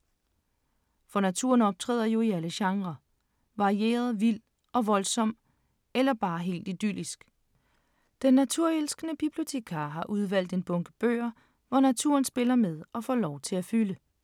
For naturen optræder jo i alle genrer. Varieret, vild og voldsom eller bare helt idyllisk. Den naturelskende bibliotekar har udvalgt en bunke bøger, hvor naturen spiller med og får lov til at fylde.